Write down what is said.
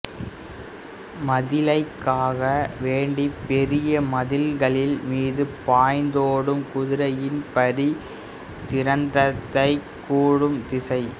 மதிலைக்காக்க வேண்டி பெரிய மதில்களின் மீது பாய்ந்தோடும் குதிரையின் பரி திரத்தைக்கூறும் திணை